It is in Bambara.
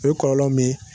O ye kɔlɔlɔ min ye